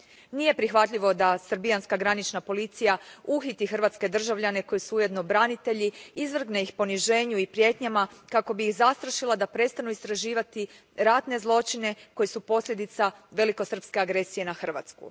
Nije prihvatljivo da srbijanska granična policija uhiti hrvatske građane, koji su ujedno branitelji, izvrgne ih poniženju i prijetnjama kako bi ih zastrašila da prestanu istraživati ratne zločine, koji su posljedica velikosrpske agresije na Hrvatsku.